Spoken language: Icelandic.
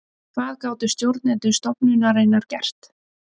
Hvað gátu stjórnendur stofnunarinnar gert?